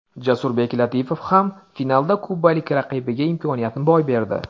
Jasurbek Latipov ham finalda kubalik raqibiga imkoniyatni boy berdi.